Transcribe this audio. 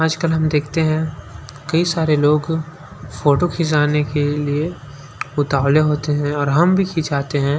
आजकल हम देखते हैं कई सारे लोग फोटो खींचाने के लिए उतावले होते हैं और हम भी खिंचाते हैं।